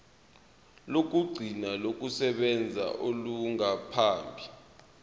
lokugcina lokusebenza olungaphambi